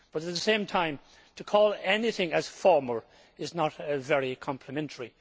At the same time, to call anything former' is not very complimentary.